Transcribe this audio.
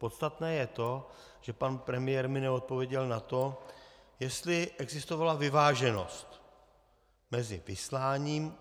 Podstatné je to, že pan premiér mi neodpověděl na to, jestli existovala vyváženost mezi vysláním.